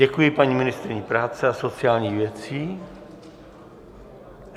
Děkuji paní ministryni práce a sociálních věcí.